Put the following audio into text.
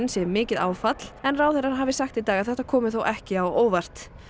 sé mikið áfall en ráðherrar hafa sagt í dag að þetta komi þó ekki á óvart